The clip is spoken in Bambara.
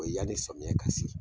O ye yan ni sɔmiyɛ ka se.